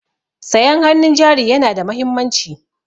Sayan hannun jari yana da mahimmanci.